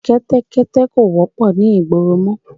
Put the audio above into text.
Kẹ́tẹ́kẹ́tẹ́ kò wọ́pọ̀ ni ìgboro mọ